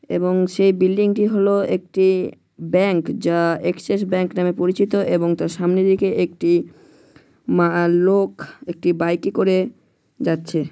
এবং সেই বিল্ডিং -টি হলো একটি ব্যাংক যা এক্সিস ব্যাঙ্ক নামে পরিচিত এবং তার সামনে দিকে একটি মা লোক একটি বাইক -এ করে যাচ্ছে।